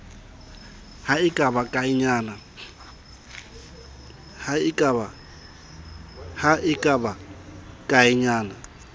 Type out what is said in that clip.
ha e ka ba kaenyana